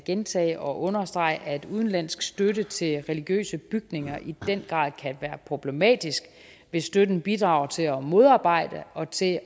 gentage og understrege at udenlandsk støtte til religiøse bygninger i den grad kan være problematisk hvis støtten bidrager til at modarbejde og til